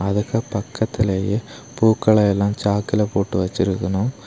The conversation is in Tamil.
இங்க பக்கத்துலயே பூக்களை எல்லாம் சாக்ல போட்டு வச்சிருக்கணும்.